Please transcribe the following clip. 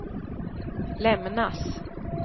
lämnas